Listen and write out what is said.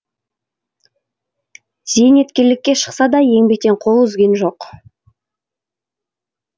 зейнеткерлікке шықса да еңбектен қол үзген жоқ